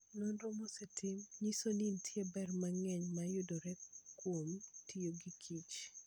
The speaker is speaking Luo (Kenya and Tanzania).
Nonro mosetim nyiso ni nitie ber mang'eny ma yudore kuom tiyo gikich.